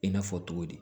I n'a fɔ cogo di